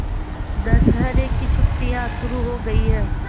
दशहरे की छुट्टियाँ शुरू हो गई हैं